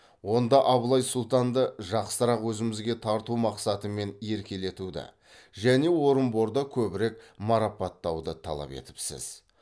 онда абылай сұлтанды жақсырақ өзімізге тарту мақсатымен еркелетуді және орынборда көбірек марапаттауды талап етіпсіз